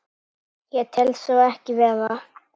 Ég tel svo ekki vera.